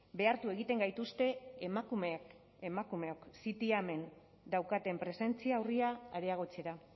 behartu egiten gaituzte emakumeok ztiamen daukaten presentzia urria areagotzera